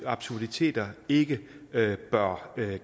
absurditeter ikke bør